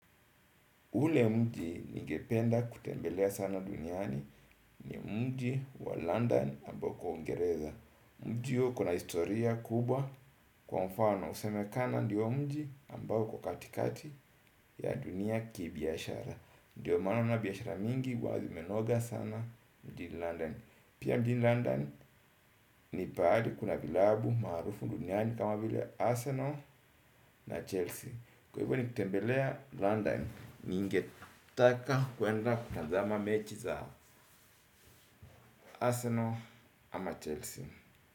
Ule mji ningependa kutembelea sana duniani ni mji wa London ambao uko ungereza. Mji huo kuna historia kubwa kwa mfano husemekana ndiyo mji ambao kwa katikati ya dunia ki biashara. Ndiyo maana biashara mingi huwa zimenoga sana mjini londani. Pia mjini londani, ni paali kuna vilabu marufu duniani kama vile Arsenal na Chelsea. Kwa hivyo nikitembelea London, ningetaka kwenda kutanzama mechi za Arsenal ama Chelsea.